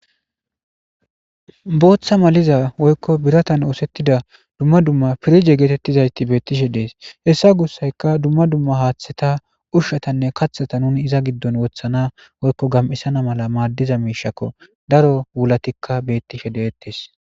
booththa maliza woykko biratan oosettida dumma dumma pirige geetettizayti beettishe dees hessa gussayka dumma dumma haaththeta ushshatanne kathata nuni iza giddon wothana woykko gam7isana mala maaddiza miishakko daro wulatikka beettishe deettes